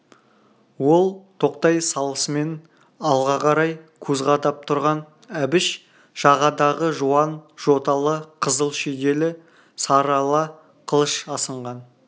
ол тоқтай салысымен алға қарай көз қадап тұрған әбіш жағадағы жуан жоталы қызыл шүйделі сары ала қылыш асынған